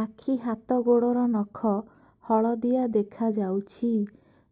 ଆଖି ହାତ ଗୋଡ଼ର ନଖ ହଳଦିଆ ଦେଖା ଯାଉଛି